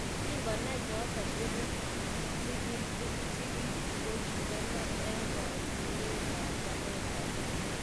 Kingo nai choto tugul, sigil chiki kokikonor eng kaetunit ab talentait nenyin.